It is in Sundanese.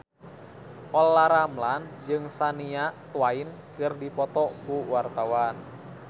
Olla Ramlan jeung Shania Twain keur dipoto ku wartawan